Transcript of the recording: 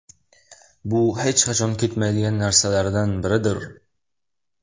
Bu hech qachon ketmaydigan narsalardan biridir.